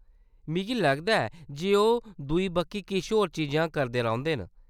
मिगी लगदा ऐ जे ओह्‌‌ दूई बक्खी किश होर चीजां करदे रौंह्‌‌‌दे न।